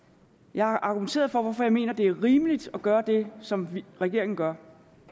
jeg har argumenteret for hvorfor jeg mener det er rimeligt at gøre det som regeringen gør